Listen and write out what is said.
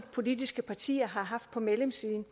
politiske partier har haft på medlemssiden